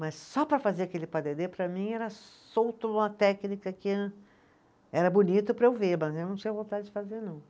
Mas só para fazer aquele padelê, para mim, era solto uma técnica que era bonita para eu ver, mas eu não tinha vontade de fazer, não.